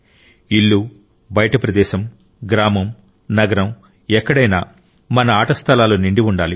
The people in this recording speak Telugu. ఇల్లు బయటి ప్రదేశం గ్రామం నగరం ఎక్కడైనా మన ఆట స్థలాలు నిండి ఉండాలి